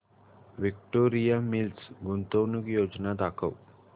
Victoria Mills गुंतवणूक योजना दाखव